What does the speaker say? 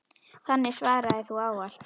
Þannig svaraði þú ávallt.